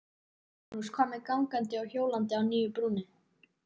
Magnús: Hvað með gangandi og hjólandi á nýju brúnni?